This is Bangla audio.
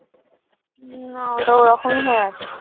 না ওটা ওরকমই হয়ে আছে।